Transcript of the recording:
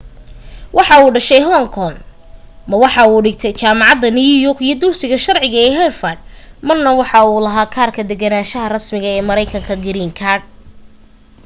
waxuu ku dhashay hong kong ma waxa uu dhigtay jaamacada new york iyo dugsiga sharciga ee harvard marna waxa uu lahaa kaarka degganaasha rasmiga ee mareykanka green card